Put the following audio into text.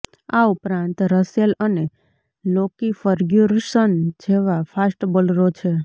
આ ઉપરાંત રસેલ અને લોકી ફર્ગ્યુસન જેવા ફાસ્ટ બોલરો છે